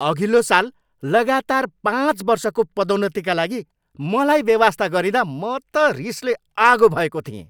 अघिल्लो साल लगातार पाँच वर्षको पदोन्नतिका लागि मलाई बेवास्ता गरिँदा म त रिसले आगो भएको थिएँ।